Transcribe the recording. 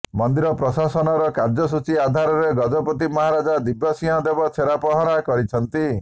ମନ୍ଦିର ପ୍ରଶାସନର କାର୍ୟ୍ୟସୂଚୀ ଆଧାରରେ ଗଜପତି ମହାରାଜ ଦିବ୍ୟସିଂହ ଦେବ ଛେରା ପହଁରା କରିଛନ୍ତି